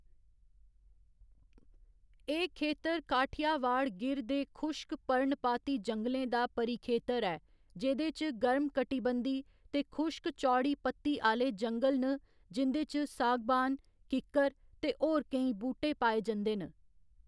एह्‌‌ खेतर काठियावाड़ गिर दे खुश्क पर्णपाती जंगलें दा परिखेतर ऐ, जेह्‌‌‌दे च गर्म कटिबंधी ते खुश्क चौड़ी पत्ती आह्‌ले जंगल न जिं'दे च सागबान, किक्कर ते होर केईं बूह्‌‌टे पाए जंदे न।